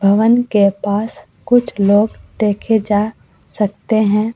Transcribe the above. भवन के पास कुछ लोग देखे जा सकते हैं।